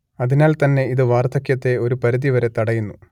അതിനാൽ തന്നെ ഇത് വാർധക്യത്തെ ഒരു പരിധിവരെ തടയുന്നു